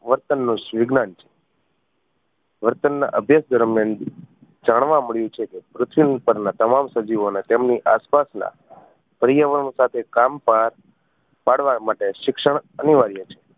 વર્તન નું વિજ્ઞાન છે વર્તન ના અભ્યાસ દરમિયાન જાણવા મળ્યું છે કે પૃથ્વી પર ના તમામ સજીવો ને તેમની આસપાસના પર્યાવરણ સાથે કામ પા પાડવા માટે શિક્ષણ અનિવાર્ય છે.